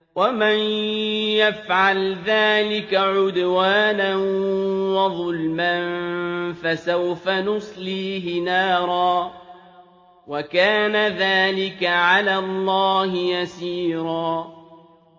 وَمَن يَفْعَلْ ذَٰلِكَ عُدْوَانًا وَظُلْمًا فَسَوْفَ نُصْلِيهِ نَارًا ۚ وَكَانَ ذَٰلِكَ عَلَى اللَّهِ يَسِيرًا